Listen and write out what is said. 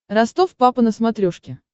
ростов папа на смотрешке